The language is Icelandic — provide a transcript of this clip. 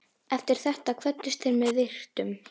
Eftir þetta kvöddust þeir með virktum.